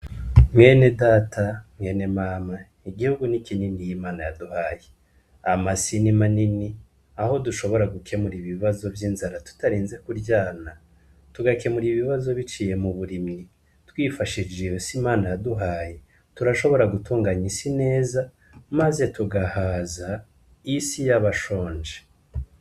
Mwene data mwene mama igihugu ni ikinini y'imana yaduhaye ama sinima nini aho dushobora gukemura ibibazo vy'inzara tutarenze kuryana tugakemura ibibazo biciye mu burimyi twifashishije iyo si imana yaduhaye turashobora gutunganya isi neza, maze tugahaza isi yabashonje.